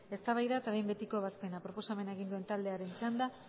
eztabaida eta behin betiko ebazpena proposamena egin duen taldearen txanda